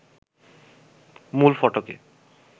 মূল ফটকে